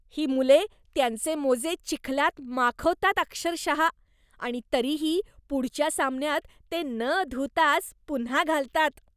ही मुले त्यांचे मोजे चिखलात माखवतात अक्षरशः आणि तरीही पुढच्या सामन्यात ते न धुताच पुन्हा घालतात.